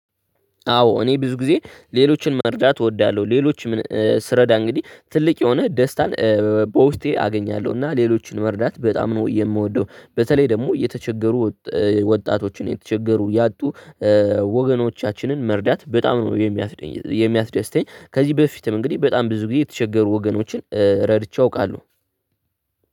አዎ እኔ ብዙ ጊዜ ሌሎችን መርዳት እወዳለሁ ሌሎችም ስረዳ እንግዲህ ትልቅ የሆነ ደስታን በውስጤ አገኛለሁ። እና ሌሎችን መርዳት በጣም ነው የምወደው በተለይ ደግሞ የተቸገሩ ወጣቶችን የተቸገሩ ያጡ ወገኖቻችንን መርዳት በጣም ነው። የሚያስደስተኝ ከዚህ በፊትም እንግዲህ በጣም ብዙ ጊዜ የተቸገሩ ወገኖችን ረድቼ አውቃለሁ።